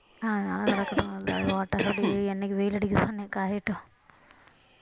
அதனால கிடக்கட்டும் அப்படியே என்னைக்கு வெயில் அடிக்குதோ அன்னைக்கு காயட்டும்